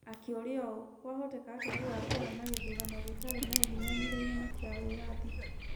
Akĩũria ũũ: 'Kwahoteka atĩa gũgaakorũo na gĩthurano gĩtarĩ na ũhinyanĩrĩria na kĩa wĩyathi?'